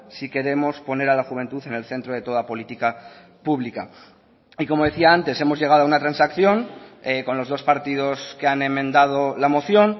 si queremos poner a la juventud en el centro de toda política pública y como decía antes hemos llegado a una transacción con los dos partidos que han enmendado la moción